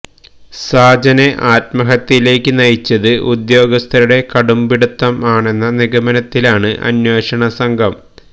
സാജനെ ആത്മഹത്യയിലേക്ക് നയിച്ചത് ഉദ്യോഗസ്ഥരുടെ കടുംപിടുത്തം ആണെന്ന നിഗമനത്തിലാണ് അന്വേഷണ സംഘം